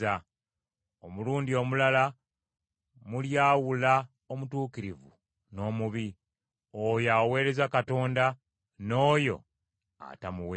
Omulundi omulala mulyawula omutuukirivu n’omubi, oyo aweereza Katonda n’oyo atamuweereza.”